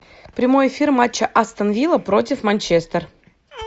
прямой эфир матча астон вилла против манчестер